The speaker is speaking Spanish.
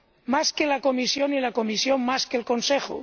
Más que la Comisión y la Comisión más que el Consejo.